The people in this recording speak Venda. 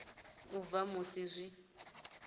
na u bva musi zwi